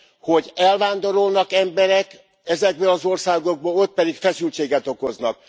hogy elvándorolnak emberek ezekből az országokból, ott pedig feszültséget okoznak.